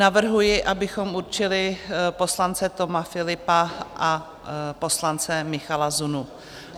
Navrhuji, abychom určili poslance Toma Philippa a poslance Michala Zunu.